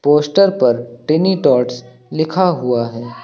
Poster पर tiny tots लिखा हुआ है।